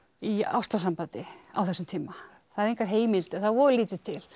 í ástarsambandi á þessum tíma það eru engar heimildir það er voða lítið til